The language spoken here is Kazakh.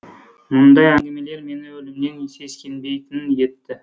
мұндай әңгімелер мені өлімнен сескенбейтін етті